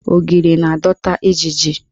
Ogiri na-adọta ijiji.